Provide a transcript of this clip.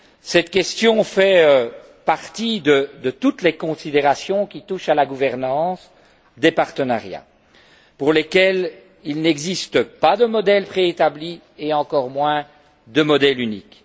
Cette question fait partie de toutes les considérations qui touchent à la gouvernance des partenariats, pour lesquels il n'existe pas de modèle préétabli et encore moins de modèle unique.